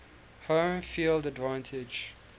home field advantage